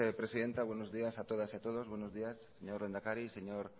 presidenta buenos días a todas y a todos buenos días señor lehendakari señor